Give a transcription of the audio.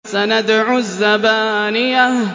سَنَدْعُ الزَّبَانِيَةَ